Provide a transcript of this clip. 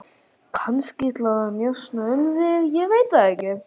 Kannski til að njósna um þig, ég veit það ekki.